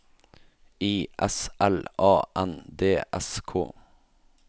I S L A N D S K